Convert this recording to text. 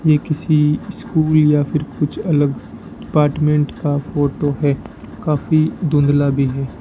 ये किसी स्कूल या फिर कुछ अलग अपार्टमेंट का फोटो है काफी धुंधला भी है।